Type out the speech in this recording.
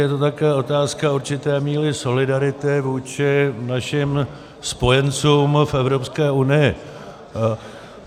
Je to také otázka určité míry solidarity vůči našim spojencům v Evropské unii.